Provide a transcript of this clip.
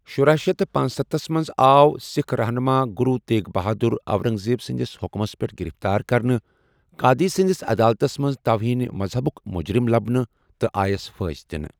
شُرہ شیتھ تہٕ پنَستھس منٛز آو سکھ رہنُما گرو تیغ بہادراورنگزیب سندِس حُكمس پٮ۪ٹھ گِرِفتٲر کرنہٕ، قادی سنٛدس عدالتس منٛز توہین مذہبُک مجرم لبنہٕ تہٕ آیس پھٲنٛسہِ دِنہٕ۔